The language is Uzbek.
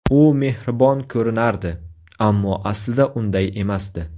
U mehribon ko‘rinardi, ammo aslida unday emasdi.